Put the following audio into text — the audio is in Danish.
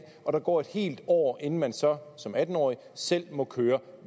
og der går et helt år inden man så som atten årig selv må køre